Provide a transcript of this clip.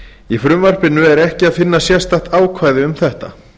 í frumvarpinu er ekki að finna sérstakt ákvæði um þetta